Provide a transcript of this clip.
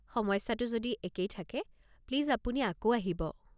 সমস্যাটো যদি একেই থাকে, প্লিজ আপুনি আকৌ আহিব।